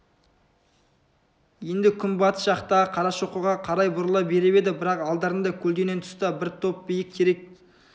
енді күнбатыс жақтағы қарашоқыға қарай бұрыла беріп еді бірақ алдарында көлденең тұста бір топ биік терек